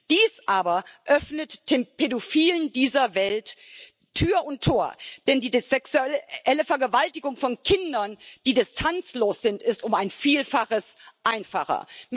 Dies aber öffnet den Pädophilen dieser Welt Tür und Tor, denn die sexuelle Vergewaltigung von Kindern, die distanzlos sind, ist um ein Vielfaches einfacher.